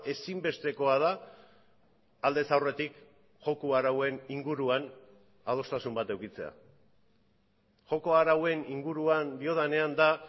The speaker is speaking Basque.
ezinbestekoa da aldez aurretik joko arauen inguruan adostasun bat edukitzea joko arauen inguruan diodanean da